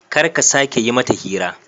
Kar ka sake yi mata hira.